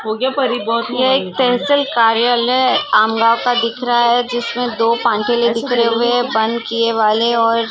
ये एक तहसील कार्यालय है आम गाँव का दिख रहा है। जिसेमें दो --